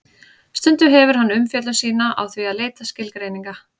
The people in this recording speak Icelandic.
Stundum hefur hann umfjöllun sína á því að leita skilgreininga.